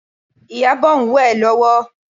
Ìyábọ̀ ń wẹ̀ lọ́wọ́